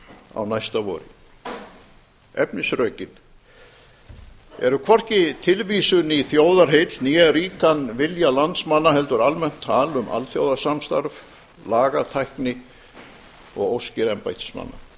á næsta vori efnisrökin eru hvorki tilvísun í þjóðarheill né ríkan vilja landsmanna heldur almennt tal um alþjóðasamstarf lagatækni og óskir embættismanna